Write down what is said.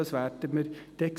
das werden wir dann sehen.